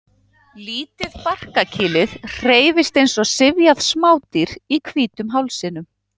Lítið barkakýlið hreyfist eins og syfjað smádýr í hvítum hálsinum.